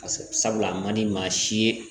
Ka sɔrɔ a man di maa si ye